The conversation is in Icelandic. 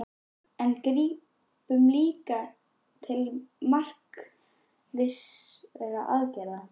En grípum líka til markvissra aðgerða.